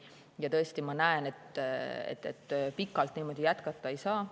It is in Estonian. Ja tõesti, ma näen, et pikalt niimoodi jätkata ei saa.